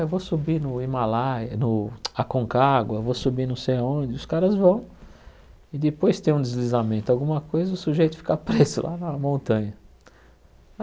Eu vou subir no Himalaia, no Aconcagua, vou subir não sei onde, os caras vão e depois tem um deslizamento alguma coisa, o sujeito fica preso lá na montanha.